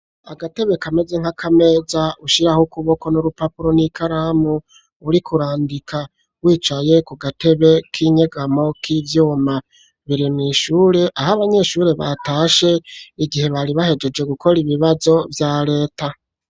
Agatebe kameze nk'akameza ushiraho kuboko n'urupapuro n'ikaramu uri kurandika wicaye ku gatebe k'inyegamo k'ivyuma biri mu ishure aho abanyeshure batashe igihe bari bahegeje gukora ibibazo vya reta.